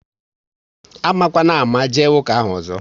Amakwana ámá jee ụka ahụ ọzọ!